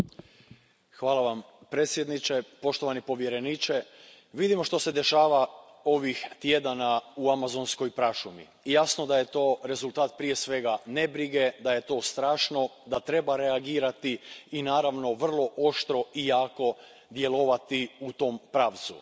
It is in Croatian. Poštovani predsjedavajući, hvala vam predsjedniče, poštovani povjereniče, vidimo što se dešava ovih tjedana u amazonskoj prašumi. Jasno da je to rezultat, prije svega, nebrige, da je to strašno, da treba reagirati i naravno, vrlo oštro i jako djelovati u tom pravcu.